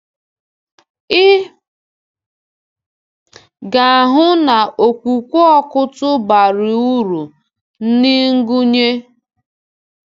Ị gāhụ na okwukwe Ọkụ́tụ̀ bara uru n’ịgụnye.